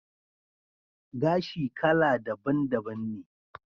Gashi kala daban daban ne